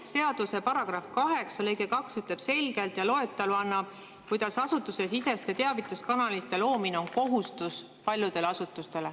Seaduse § 8 lõige 2 ütleb selgelt ja annab loetelu, kuidas asutusesiseste teavituskanalite loomine on kohustus paljudele asutustele.